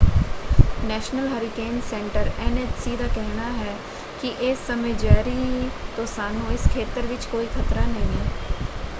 National Hurricane Centre NHC. ਦਾ ਕਹਿਣਾ ਹੈ ਕਿ ਇਸ ਸਮੇਂ ਜੈਰੀ ਤੋਂ ਸਾਨੂੰ ਇਸ ਖੇਤਰ ਵਿੱਚ ਕੋਈ ਖਤਰਾ ਨਹੀਂ ਹੈ।